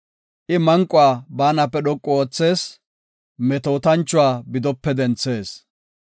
I manquwa baanape dhoqu oothees; metootanchuwa bidope denthees.